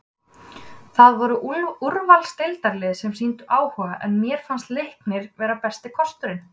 Það voru úrvalsdeildarlið sem sýndu áhuga en mér fannst Leiknir vera besti kosturinn.